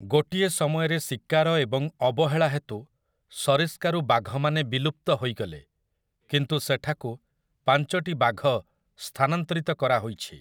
ଗୋଟିଏ ସମୟରେ ଶିକାର ଏବଂ ଅବହେଳା ହେତୁ ସରିସ୍କାରୁ ବାଘମାନେ ବିଲୁପ୍ତ ହୋଇଗଲେ, କିନ୍ତୁ ସେଠାକୁ ପାଞ୍ଚଟି ବାଘ ସ୍ଥାନାନ୍ତରିତ କରାହୋଇଛି ।